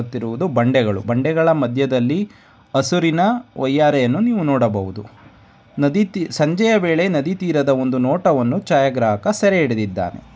ಕಾಣುತ್ತಿರುಯುದು ಬಂಡೆಗಳು ಬಂಡೆಗಳ ಮದ್ದೆದಲ್ಲಿ ಹಸುರಿನ ವಯ್ಯಾರೆಯನ್ನು ನೀವು ನೋಡಬಹುದು ನದಿ ತಿ ಸಂಜೆಯ ವೇಳೆ ನದಿ ತೀರದ ಒಂದು ನೋಟವನ್ನು ಛಾಯಾಗ್ರಾಹಕ ಸೆರೆ ಹಿಡಿದಿದ್ದಾನೆ.